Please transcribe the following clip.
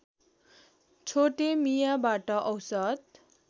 छोटे मियाबाट औसत